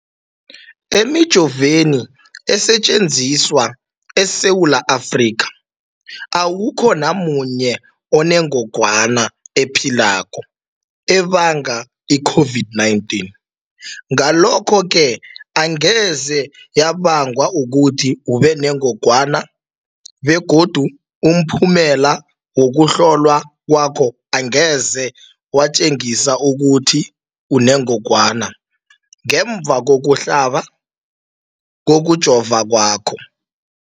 Emijoveni esetjenziswa eSewula Afrika, awukho namunye onengog wana ephilako ebanga i-COVID-19. Ngalokho-ke angeze yabanga ukuthi ubenengogwana begodu umphumela wokuhlolwan kwakho angeze watjengisa ukuthi unengogwana ngemva kokuhlaba, kokujova kwakho.